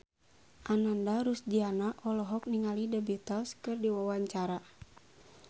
Ananda Rusdiana olohok ningali The Beatles keur diwawancara